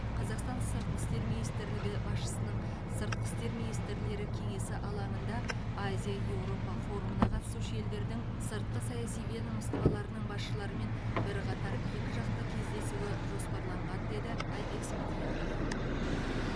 қазақстан сыртқы істер министрлігі басшысының сыртқы істер министрлері кеңесі алаңында азия еуропа форумына қатысушы елдердің сыртқы саяси ведомстволарының басшыларымен бірқатар екіжақты кездесуі жоспарланған деді айбек смадияров